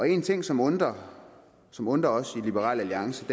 en ting som undrer som undrer os i liberal alliance